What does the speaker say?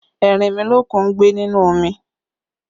Erinmilokun ń gbé nínú omi